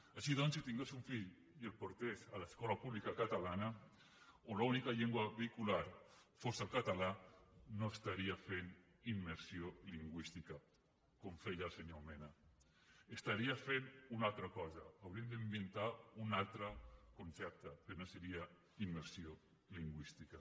així doncs si tingués un fill i el portés a l’escola pública catalana on l’única llengua vehicular fos el català no estaria fent immersió lingüística com feia el senyor mena estaria fent una altra cosa hauríem d’inventar un altre concepte però no seria immersió lingüística